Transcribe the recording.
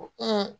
Ko